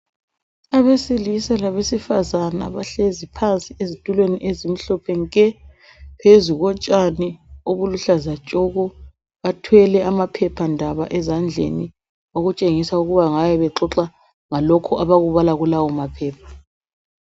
Abesilisa labesifazana bahlezi phansi ezitulweni ezimhlophe nke phezu kotshani obuluhlaza tshoko bathwele amaphephandaba ezandleni okutshengisa ukuthi bangabe bexoxa ngalokho abakubala kulawo maphepha.